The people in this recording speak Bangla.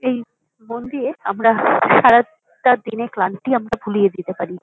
এই বন দিয়ে আমারা সারাটা দিনের ক্লান্তি আমরা ভুলিয়ে দিতে পারি।